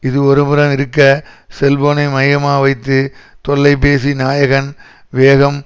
இது ஒருபுறம் இருக்க செல்போனை மையமாக வைத்து தொல்லைபேசி நாயகன் வேகம்